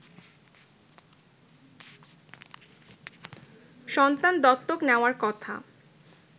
সন্তান দত্তক নেয়ার কথা